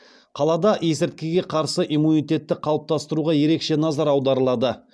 қалада есірткіге қарсы иммунитетті қалыптастыруға ерекше назар аударылады